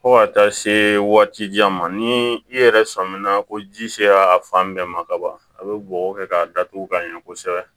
Fo ka taa se waati jan ma ni i yɛrɛ sɔnminna ko ji sera a fan bɛɛ ma ka ban a bɛ bɔgɔ kɛ k'a datugu ka ɲɛ kosɛbɛ